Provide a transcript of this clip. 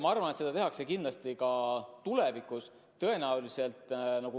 Ma arvan, et seda tehakse kindlasti ka tulevikus.